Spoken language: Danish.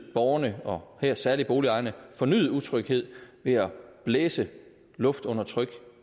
borgerne og her særlig boligejerne fornyet utryghed ved at blæse luft under tryk